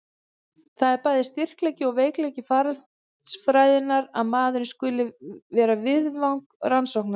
Það er bæði styrkleiki og veikleiki faraldsfræðinnar að maðurinn skuli vera viðfang rannsóknanna.